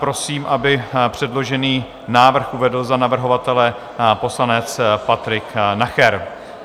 Prosím, aby předložený návrh uvedl za navrhovatele poslanec Patrik Nacher.